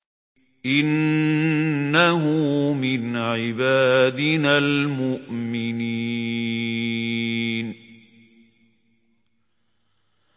إِنَّهُ مِنْ عِبَادِنَا الْمُؤْمِنِينَ